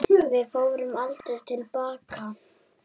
Við förum aldrei til baka.